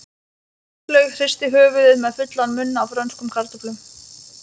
Áslaug hristi höfuðið með fullan munn af frönskum kartöflum.